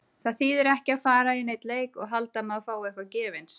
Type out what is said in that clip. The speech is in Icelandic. Það þýðir ekki að fara í neinn leik og halda að maður fái eitthvað gefins.